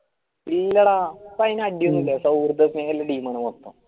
ഇല്ലാട ഇപ്പൊ അടിയൊനുല്യ പക്ഷെ team ആണ്